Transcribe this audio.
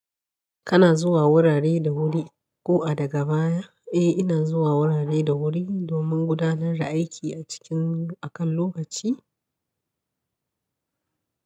Kana zuwa wurare da wuri ko a daga baya? Eh ina zuwa wurare da wuri domin gudanar da aiki a cikin a kan lokaci.